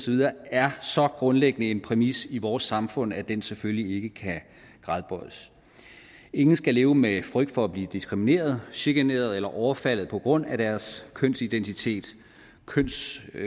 videre er så grundlæggende en præmis i vores samfund at den selvfølgelig ikke kan gradbøjes ingen skal leve med frygt for at blive diskrimineret chikaneret eller overfaldet på grund af deres kønsidentitet kønsudtryk